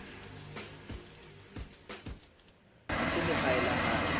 a selehae le ha e